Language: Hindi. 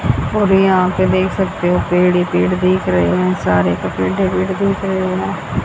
और यहां पे देख सकते हो पेड़ ही पेड़ दिख रहे हैं सारे हैं।